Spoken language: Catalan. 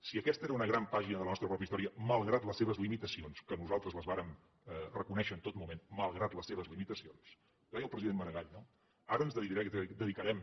si aquesta era una gran pàgina de la nostra pròpia història malgrat les seves limitacions que nosaltres les vàrem reconèixer en tot moment malgrat les seves limitacions ho deia el president maragall no ara ens dedicarem